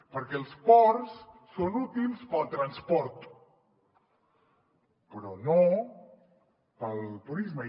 perquè els ports són útils per al transport però no per al turisme